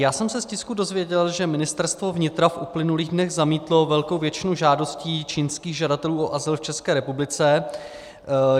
Já jsem se z tisku dozvěděl, že Ministerstvo vnitra v uplynulých dnech zamítlo velkou většinu žádostí čínských žadatelů o azyl v České republice.